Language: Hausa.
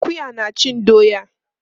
Akuya na cin doya.